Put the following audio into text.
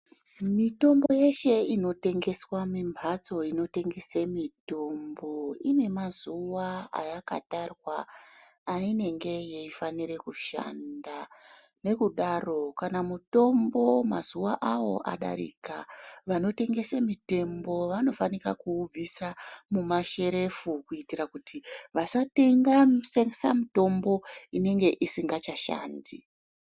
Mitombo yeshe inotengeswa mumphatso inotengese mitombo ine mazuwa ayakatarwa ainenge yeifanire kushanda nokudaro kana mutombo mazuwa awo adarika vanotengese mitombo vanofanika kuubvisa mumasherefu kuitira kuti vasatengesa mitombo inenge isikacha shandi.